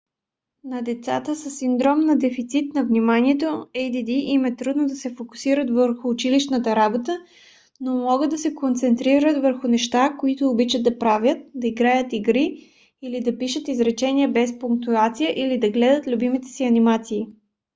на децата със синдром на дефицит на вниманието add им е трудно да се фокусират върху училищната работа но могат да се концентрират върху неща които обичат да правят да играят игри или да пишат изречения без пунктуация или да гледат любимите си анимации